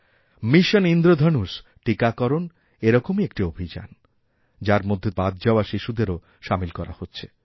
mission Indradhanush টীকাকরণ এরকমই একটি অভিযান যার মধ্যে বাদযাওয়া শিশুদেরও সামিল করা হচ্ছে